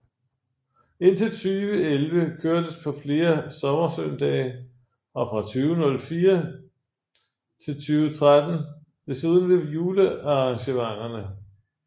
Indtil 2011 kørtes på flere sommersøndage og fra 2004 til 2013 desuden ved julearrangementerne